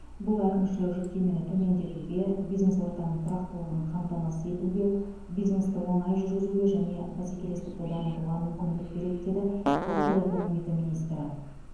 бұл әкімшілік жүктемені төмендетуге бизнес ортаның тұрақтылығын қамтамасыз етуге бизнесті оңай жүргізуге және бәсекелестікті дамытуға мүмкіндік береді деді ұлттық экономика министрі